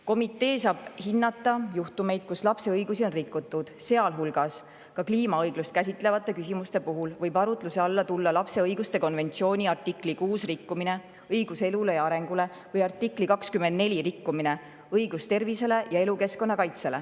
Komitee saab hinnata juhtumeid, kus lapse õigusi on rikutud, sealhulgas võib kliimaõiglust käsitlevate küsimuste puhul arutluse alla tulla lapse õiguste konventsiooni artikli 6 rikkumine – õiguse elule ja arengule – või artikli 24 rikkumine – õigust tervisele ja elukeskkonna kaitset.